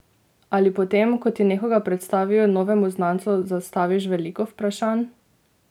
Ali potem, ko ti nekoga predstavijo, novemu znancu zastaviš veliko vprašanj?